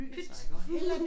Pyt